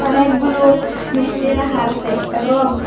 অনেকগুলো মিষ্টি রাখা আসে এবং--